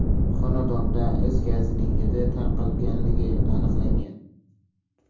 Xonadonda is gazining hidi tarqalganligi aniqlangan.